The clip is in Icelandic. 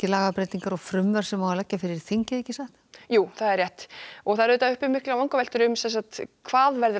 lagabreytingar og frumvörp sem leggja á fyrir þingið ekki rétt miklar vangaveltur hvað verður